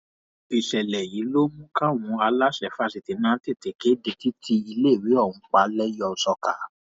ìṣẹlẹ yìí ló mú káwọn aláṣẹ fásitì náà tètè kéde títí iléèwé ọhún pa lẹyẹòsọkà